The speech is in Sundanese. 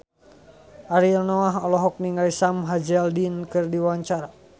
Ariel Noah olohok ningali Sam Hazeldine keur diwawancara